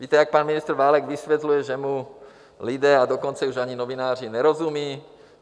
Víte, jak pan ministr Válek vysvětluje, že mu lidé, a dokonce už ani novináři nerozumí?